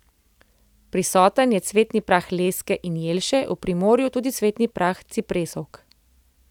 Prisoten je cvetni prah leske in jelše, v Primorju tudi cvetni prah cipresovk.